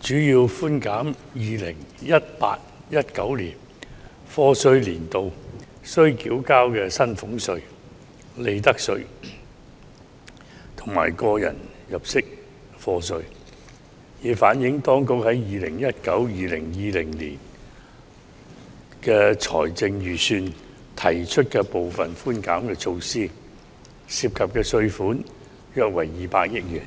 主要寬減 2018-2019 課稅年度須繳交的薪俸稅、利得稅及個人入息課稅，以反映當局在 2019-2020 年度財政預算案提出的部分寬減措施，涉及的稅款約為億元。